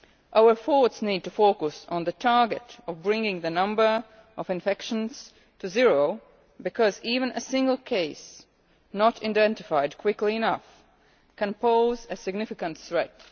Our efforts need to focus on the target of bringing the number of infections to zero because even a single case not identified quickly enough can pose a significant threat.